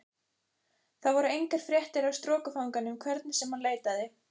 Þar voru engar fréttir af strokufanganum hvernig sem hann leitaði.